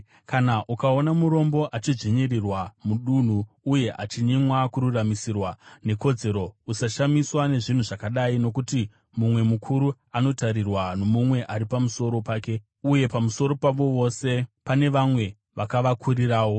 Kana ukaona murombo achidzvinyirirwa mudunhu uye achinyimwa kururamisirwa nekodzero, usashamiswa nezvinhu zvakadai; nokuti mumwe mukuru anotarirwa nomumwe ari pamusoro pake, uye pamusoro pavo vose pane vamwe vakavakurirawo.